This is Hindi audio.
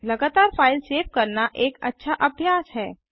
लगातार फ़ाइल सेव करना एक अच्छा अभ्यास है